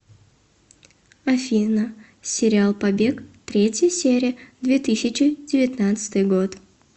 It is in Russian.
афина сериал побег третья серия две тысячи девятнадцатый год